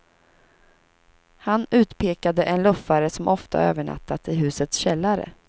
Han utpekade en luffare som ofta övernattat i husets källare.